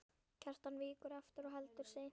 Kjartan víkur aftur og heldur seint.